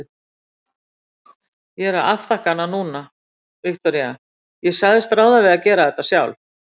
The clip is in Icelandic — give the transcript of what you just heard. Ég er að afþakka hana núna, Viktoría, ég sagðist ráða við þetta sjálf.